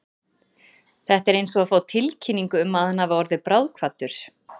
Þetta er eins og að fá tilkynningu um að hann hafi orðið bráðkvaddur.